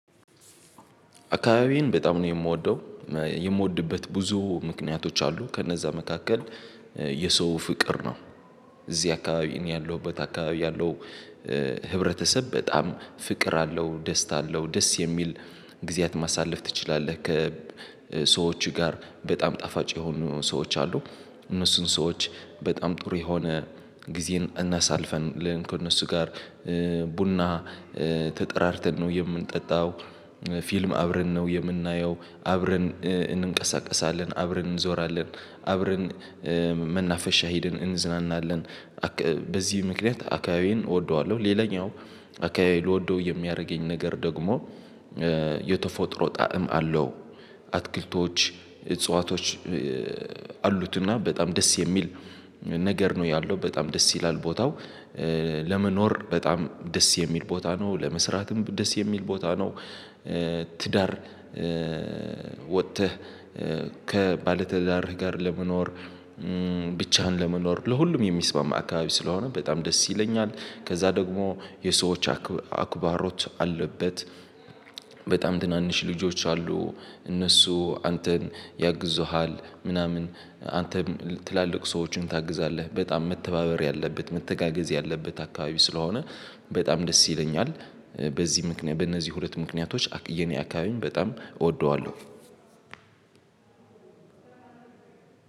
አካባቢዬን በጣም ነው የምወደው እ የምወድበት ብዙ ምክንያቶች አሉ ከነዛ መካከል እ የሰው ፍቅር ነው። እዚህ አካባቢ እኔ ያለሁበት አካባቢ ያለው እ ህብረተሰብ በጣም ፍቅር አለው ደስታ አለው ደስ የሚል ጊዜያት ማሳለፍ ትችላለህ ከሰዎች ጋር በጣም ጣፋጭ የሆኑ ሰዎች አሉ። እነሱን ሰዎች በጣም ጥሩ የሆነ ጊዜን እናሳልፈን ከእነሱ ጋር እ ቡና እ ተጠራርተን ነው የምንጠጣው። ፊልም አብረን ነው የምናየው አብረን እ እንቀሳቀሳለን አብረን እንዞራለን አብረን እ መናፈሻ ሂደን እንዝናናለን አካ በዚህ ምክንያት አካባቢዬን እወደዋለሁ። ሌላኛው አካባቢ ልወደው የሚያደርገኝ ነገር ደግሞ እእ የተፈጥሮ ጣዕም አለው። አትክልቶች እጽዋቶች እእ አሉትና በጣም ደስ የሚል ነገር ነው ያለው በጣም ደስ ይላል ቦታው እእ ለመኖር በጣም ደስ የሚል ቦታ ነው ለመስራትም ደስ የሚል ቦታ ነው። እእ ትዳር እእ ወጥተህ እእ ከባለትዳር ጋር ለመኖር እም ብቻህን ለመኖር ለሁሉም የሚስማማ አካባቢ ስለሆነ በጣም ደስ ይለኛል። ከዛ ደግሞ የሰዎች አክ አክባሮች አለበት በጣም ትናንሽ ልጆች አሉ። እነሱ አንተን ያግዙሃል ምናምን አንተም ትላልቅ ሰዎችን ታግዛለህ በጣም መተባበር ያለበት መተጋገዝ ያለበት አካባቢ ስለሆነ በጣም ደስ ይለኛል። በዚህ ምክንያት በእነዚህ ሁለት ምክንያቶች የኔ አካባቢን በጣም እወደዋለሁ።